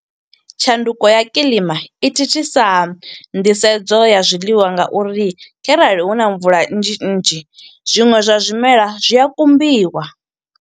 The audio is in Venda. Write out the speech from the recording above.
Tshanduko ya kiḽima, i thithisa nḓisedzo ya zwiḽiwa nga uri kharali huna mvula nnzhi nnzhi, zwiṅwe zwa zwimela zwi a kumbiwa.